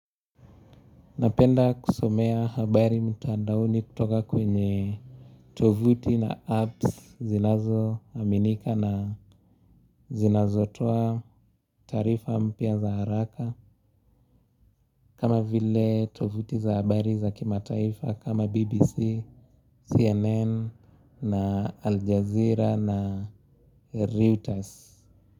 Napenda kusomea habari mtandaoni kutoka kwenye tovuti na apps zinazoaminika na zinazotoa taarifa mpya za haraka. Kama vile tovuti za habari za kimataifa kama BBC, CNN, na Aljazeera na Reuters.